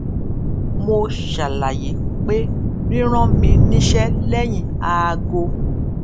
mo ṣàlàyé pé ríran mi níṣẹ lẹyìn aago